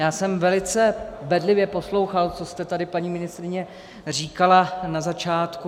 Já jsem velice bedlivě poslouchal, co jste tady, paní ministryně, říkala na začátku.